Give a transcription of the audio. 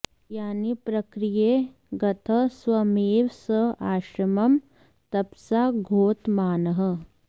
यानि प्रकीर्येह गतः स्वमेव स आश्रमं तपसा द्योतमानः